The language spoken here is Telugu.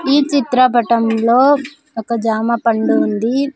ఈ చిత్రపటంలో ఒక జామ పండు ఉంది.